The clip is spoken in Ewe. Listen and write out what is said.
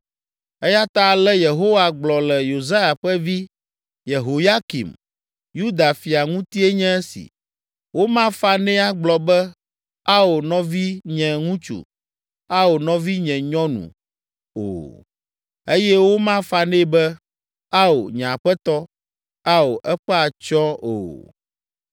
Eya ta ale Yehowa gblɔ le Yosia ƒe vi, Yehoyakim, Yuda fia ŋutie nye esi: “Womafa nɛ agblɔ be, ‘Ao, nɔvinye ŋutsu! Ao, nɔvinye nyɔnu!’ o. Eye womafa nɛ be, ‘Ao, nye aƒetɔ! Ao, eƒe atsyɔ̃!’ o.